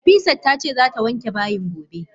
Nafisat tace zata wanke bayin gobe